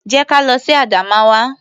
Jẹ́ ka lọ sí Adamawa.